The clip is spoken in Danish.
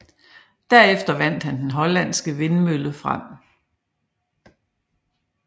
Derefter vandt den hollandske vindmølle frem